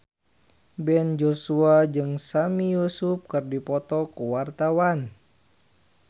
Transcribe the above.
Ben Joshua jeung Sami Yusuf keur dipoto ku wartawan